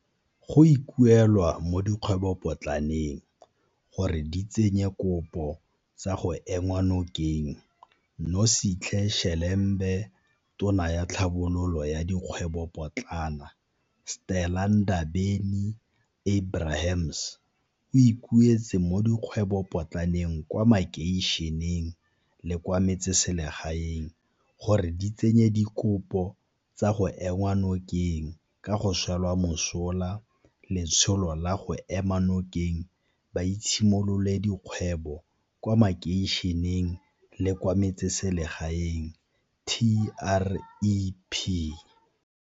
Go ikuelwa mo dikgwebopotlaneng gore di tsenye dikopo tsa go enngwa nokeng Nosihle Shelembe Tona ya Tlhabololo ya Dikgwebopotlana, Stella Ndabe ni-Abrahams, o ikuetse mo dikgwebopotlaneng kwa makeišeneng le kwa metseselegaeng gore di tsenye dikopo tsa go enngwa nokeng ka go swela mosola Letsholo la go Ema Nokeng Boitshimololedi kgwebo kwa Makeišeneng le kwa Metseselegaeng TREP.